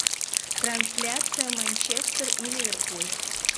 трансляция манчестер и ливерпуль